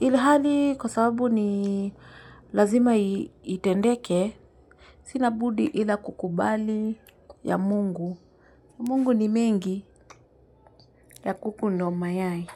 Ilihali kwa sababu ni lazima itendeke sina budi ila kukubali ya Mungu, ya Mungu ni mengi ya kuku ndo mayai.